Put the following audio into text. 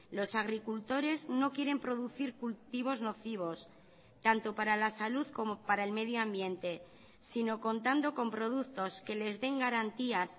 los agricultores no quieren producir cultivos nocivos tanto para la salud como para el medio ambiente sino contando con productos que les den garantías